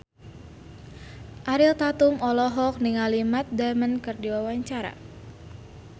Ariel Tatum olohok ningali Matt Damon keur diwawancara